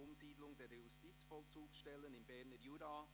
«Umsiedlung der Justizvollzugsstellen im Berner Jura».